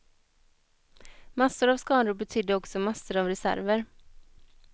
Massor av skador betydde också massor av reserver.